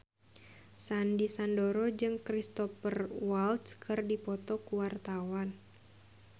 Sandy Sandoro jeung Cristhoper Waltz keur dipoto ku wartawan